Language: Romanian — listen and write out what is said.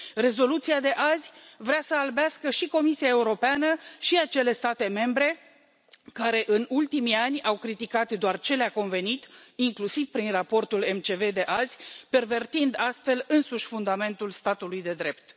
Rezoluția de azi vrea sa albească și Comisia Europeană și acele state membre care în ultimii ani au criticat doar ce le a convenit, inclusiv prin raportul MCV de azi, pervertind astfel însuși fundamentul statului de drept.